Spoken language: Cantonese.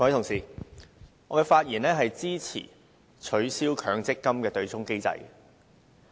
各位同事，我發言支持取消強制性公積金對沖機制。